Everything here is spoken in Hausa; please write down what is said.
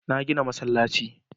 Na gina masallaci.